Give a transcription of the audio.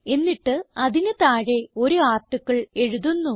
എന്നിട്ട് അതിന് താഴെ ഒരു ആർട്ടിക്കിൾ എഴുതുന്നു